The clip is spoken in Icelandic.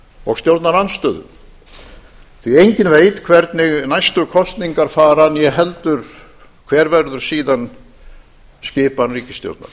og stjórnarandstöðu því að enginn veit hvernig næstu kosningar fara og ekki heldur hver verður síðan skipan ríkisstjórnar